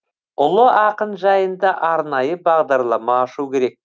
ұлы ақын жайында арнайы бағдарлама ашу керек